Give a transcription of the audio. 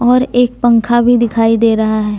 और एक पंखा भी दिखाई दे रहा है।